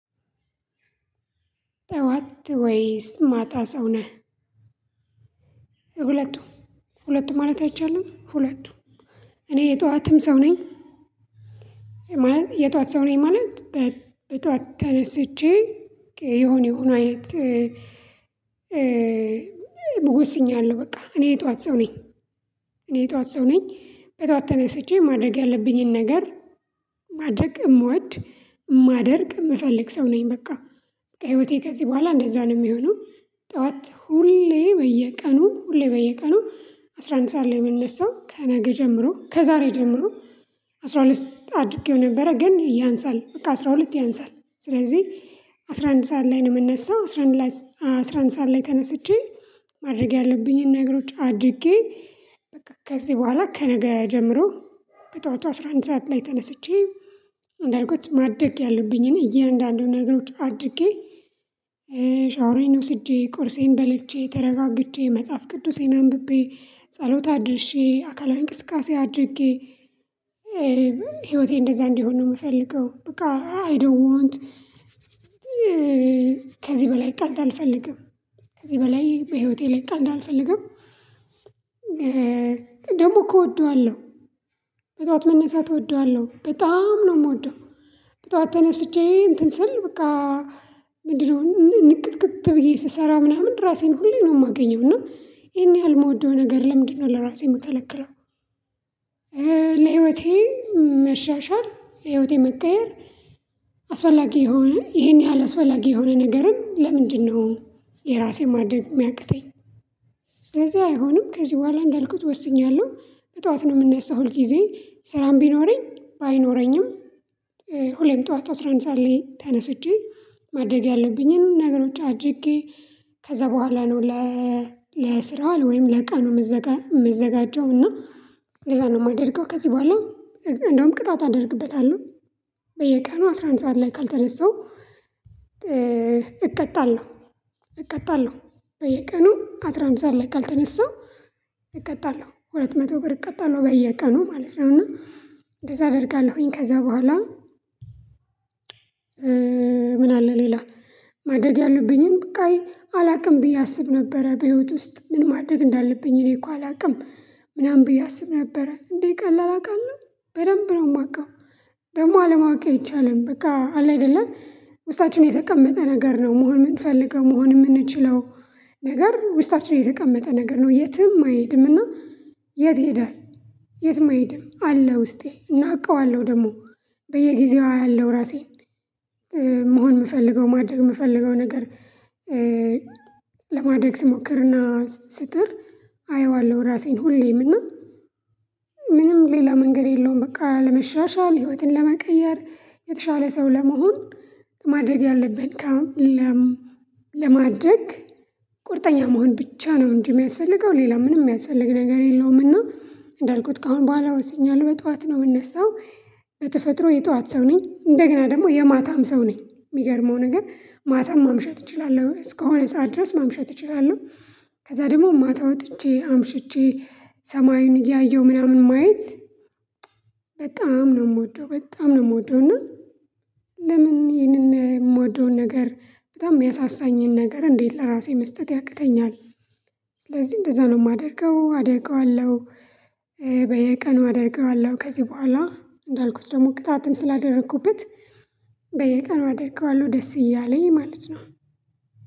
ጠዋት ወይስ ማታ ሰው ነህ? ሁለቱ ሁለቱ ማለት አይቻልም። ሁለቱ እኔ የጠዋትም ሰው ነኝ። ማለት የጠዋት ሰው ነኝ ማለት በጧት ተነስቼ የሆነ የሆነ አይነት። ወስኛለሁ በቃ እኔ የጠዋት ሰው ነኝ። እኔ የጠዋት ሰው ነኝ በጠዋት ተነስቼ ማድረግ ያለብኝን ነገር ማድረግ እምወድ እማደርግ የምፈልግ ሰው ነኝ በቃ ህይወቴ ከዚህ በኋላ እንደዛ ነው የሚሆነው። ጠዋት ሁሌ በየቀኑ ሁሌ በየቀኑ አስራ አንድ ሰዓት ላይ ነው የምነሳው ከነገ ጀምሮ ከዛሬ ጀምሮ። አስራ ሁለት አድርጌው ነበረ ግን ያንሳል በቃ አስራ ሁለት ያንሳል ስለዚህ አስራ አንድ ሰዓት ላይ ነው የምነሳው። አስራ አንድ ሰዓት ላይ ተነስቼ ማድረግ ያለብኝን ነገሮች አድርጌ በቃ ከዚህ በኋላ ከነገ ጀምሮ በጧቱ አስራ አንድ ሰዓት ላይ ተነስቼ አንዳልኩት ማደግ ያሉብኝን እያንዳንዱን ነገሮች አድርጌ። ሻወሬን ወስጄ ቁርሴን በልቼ ተረጋግቼ መጽሐፍ ቅዱሴን አንብቤ ጸሎት አድርሼ አካላዊ እንቅስቃሴ አድርጌ። ህይወቴ እንደዛ እንዲሆን ነው የምፈልገው። በቃ አይ ዶንት ዋንት። ከዚህ በላይ ቀልድ አልፈልግም። ከዚህ በላይ በህይወቴ ላይ ቀልድ አልፈልግም። ደግሞ እኮ እወደዋለሁ። በጧት መነሳት እወደዋለሁ በጣም ነው የምወደው። በጧት ተነስቼ እንትን ስል በቃ። ምንድነው ንቅትክት ብዬ ስሰራ ምናምን ራሴን ሁሌ ነው የማገኘው እና ይሄን ያህል የምወደው ነገር ለምንድነው ለራሴ የምከለክለው? ለህይወቴ መሻሻል ህይወቴ መቀየር። አስፈላጊ የሆነ ይሄን ያህል አስፈላጊ የሆነ ነገርን ለምንድነው? የራሴን ማድረግ የሚያቅተኝ። ስለዚህ አይሆንም ከዚህ በኋላ እንዳልኩት ወስኛለሁ በጠዋት ነው የምነሳው ሁል ጊዜ ስራም ቢኖረኝ ባይኖረኝም። ሁሌም ጠዋት አስራ አንድ ሰዓት ላይ ተነስቼ ማድረግ ያለብኝን ነገሮች አድርጌ። ከዛ በኋላ ነው ለስራ ወይም ለቀኑ የምዘጋጀው። እና ለዛ ነው የማደርገው ከዚህ በኋላ እንደውም ቅጣት አደርግበታለሁ። በየቀኑ አስራ አንድ ሰዓት ላይ ካልተነሳው። እቀጣለሁ እቀጣለሁ። በየቀኑ አስራ አንድ ሰዓት ላይ ካልተነስተው። እቀጣለሁ ሁለት መቶ ብር እቀጣለሁ በየቀኑ ማለት ነው እና እንደዛ አደርጋለሁኝ ከዛ በኋላ። ምን አለ ሌላ? ማደረግ ያሉብኝን በቃ አላውቅም ብዬ አስብ ነበረ በህይወት ውስጥ ምን ማደግ እንዳለብኝ እኔ እኮ አላውቅም። ምናምን ብዬ አስብ ነበር እንዴ ቀላል አውቃለሁ። በደንብ ነው የማውቀው። ደግሞ አለማወቅ አይቻልም በቃ አለ አይደለ። ውስጣችን የተቀመጠ ነገር ነው መሆን የምንፈልገው መሆን የምንችለው። ነገር ውስጣችን የተቀመጠ ነገር ነው የትም አይሄድምና። የት ይሄዳል? የትም አይሄድም አለ ውስጤ እና አውቀዋለሁ ደግሞ። በየጊዜው አያለው ራሴን። መሆን የምፈልገው ማድረግ የምፈልገው ነገር። ለማድረግ ስሞክርና ስጥር አየዋለሁ ራሴን ሁሌም እና። ምንም ሌላ መንገድ የለውም በቃ ለመሻሻል ህይወትን ለመቀየር የተሻለ ሰው ለመሆን። ማድረግ ያለብን ካም ለማድረግ ቁርጠኛ መሆን ብቻ ነው እንጂ የሚያስፈልገው ሌላ ምንም የሚያስፈልግ ነገር የለውም። እና እንዳልኩት ካሁን በኋላ ወስኛለሁ በጠዋት ነው የምነሳው። በተፈጥሮ የጠዋት ሰው ነኝ እንደገና ደግሞ የማታም ሰው ነኝ የሚገርመው ነገር ማታም ማምሸት እችላለሁ እስከሆነ ሰዓት ድረስ ማምሸት እችላለሁ። ከዛ ደግሞ ማታ ወጥቼ አምሽቼ። ሰማዩን እያየሁ ምናምን ማየት። በጣም ነው የምወደው በጣም ነው የምወደው። እና ለምን ይሄንን የምወደውን ነገር በጣም የሚያሳሳኝን ነገር እንዴት ለራሴ መስጠት ያቅተኛል? ስለዚህ እንደዛ ነው የማደርገው አደርገዋለሁ። በየቀኑ አደርገዋለሁ ከዚህ በኋላ እንዳልኩት ደግሞ ቅጣትም ስላደረኩበት። በየቀኑ አደርገዋለሁ ደስ እያለኝ ማለት ነው።